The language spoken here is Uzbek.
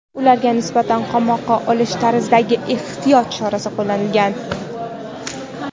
ularga nisbatan "qamoqqa olish" tarzidagi ehtiyot chorasi qo‘llanilgan.